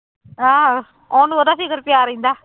ਆਹੋ ਉਹਨੂੰ ਉਹਦਾ ਫ਼ਿਕਰ ਪਿਆ ਰਹਿੰਦਾ।